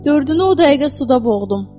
Dördünü o dəqiqə suda boğdum.